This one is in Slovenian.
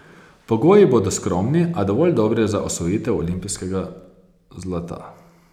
Pogoji bodo skromni, a dovolj dobri za osvojitev olimpijskega zlata.